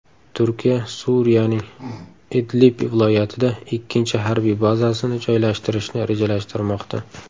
Turkiya Suriyaning Idlib viloyatida ikkinchi harbiy bazasini joylashtirishni rejalashtirmoqda.